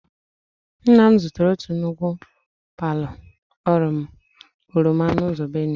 Nna m zụtara otu nnukwu pailu oroma n'ụzọ Benue.